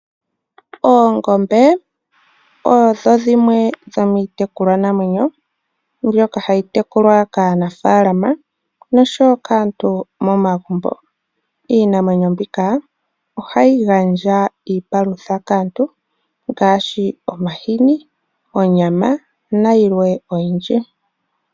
Oongombe odho dhimwe dhomiitukulwa namwenyo mbyoka hayi tekulwa kaanafalama nosho woo kaantu momagumbo. Iinamwenyo mbika ohayi gandja iipalutha kaantu ngashi omahini, onyama na yilwe oyindji.